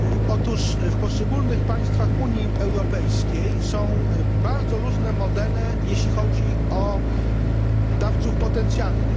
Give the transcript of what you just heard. Otóż w poszczególnych państwach Unii Europejskiej są bardzo różne modele, jeśli chodzi o dawców potencjalnych.